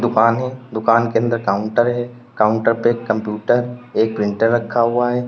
दुकान है दुकान के अंदर काउंटर है काउंटर पे एक कंप्यूटर एक प्रिंटर रखा हुआ है।